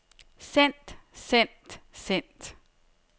sendt sendt sendt